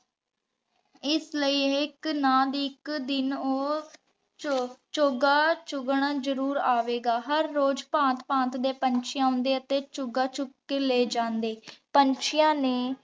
ਏਸ ਲੈ ਇਕ ਨਾ ਦੀ ਇਕ ਦਿਨ ਊ ਚੌਗਾ ਚੁਗਨ ਜ਼ਰੂਰ ਅਵੇਗਾ। ਹਰ ਰੋਜ਼ ਭਾਂਤ ਭਾਂਤ ਦੇ ਪੰਛੀ ਅੰਡੇ ਤੇ ਚੁਗਾ ਚੁਗ ਕੇ ਲੇ ਜਾਂਦੇ। ਪੰਛੀਆਂ ਨੇ